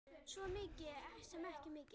Svo sem ekki mikið.